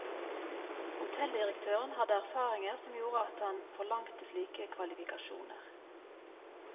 Hotelldirektøren hadde erfaringer som gjorde at han forlangte slike kvalifikasjoner.